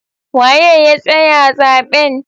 Waye ya tsaya zaben?